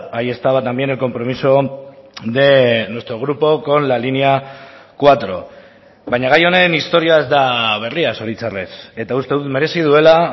ahí estaba también el compromiso de nuestro grupo con la línea cuatro baina gai honen historia ez da berria zoritxarrez eta uste dut merezi duela